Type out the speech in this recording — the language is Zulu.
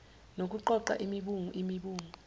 nokuqoqa imibungu imibungu